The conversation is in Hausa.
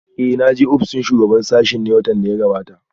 Eh na je ofishin shugaban sashen ne watan da ya gabata?